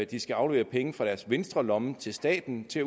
de skal aflevere penge fra deres venstre lomme til staten til